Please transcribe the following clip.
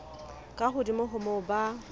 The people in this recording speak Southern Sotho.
ka hodimo ho moo ba